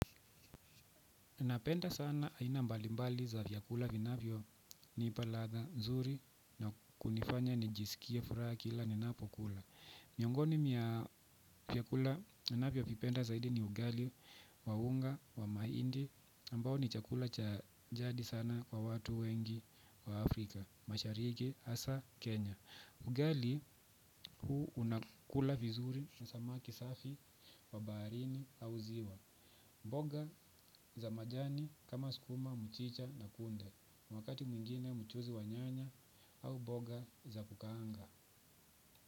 Napenda sana aina mbalimbali za vyakula vinavyonipa ladha nzuri na kunifanya nijisikie furaha kila ninapokula. Miongoni mia vyakula ninavyovipenda zaidi ni ugali wa unga wa maindi ambao ni chakula cha jadi sana kwa watu wengi wa Afrika, mashariki asa Kenya. Ugali huu unakula vizuri na samaki safi wa baharini au ziwa. Mboga za majani kama sukuma, mchicha na kunde wakati mwingine mchuzi wa nyanya au boga za kukaanga.